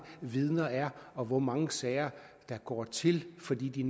vidner er og hvor mange sager der går til fordi de